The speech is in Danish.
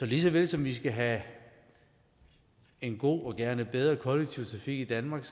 lige så vel som vi skal have en god og gerne bedre kollektiv trafik i danmark